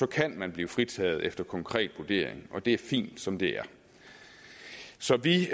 kan man blive fritaget efter konkret vurdering og det er fint som det er så vi